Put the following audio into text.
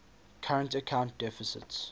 current account deficits